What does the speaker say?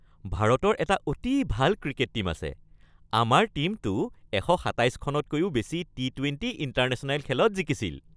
ভাৰতৰ এটা অতি ভাল ক্ৰিকেট টীম আছে। আমাৰ টীমটো ১২৭ খনতকৈও বেছি টি-টুৱেণ্টী ইণ্টাৰনেশ্যনেল খেলত জিকিছিল।